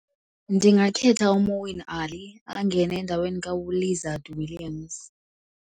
Ndingakhetha uMoeen Ali angene endaweni kaLizaad Williams.